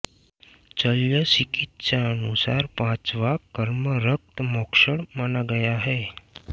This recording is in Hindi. शल्य चिकित्सानुसार पाँचवाँ कर्म रक्त मोक्षण माना गया है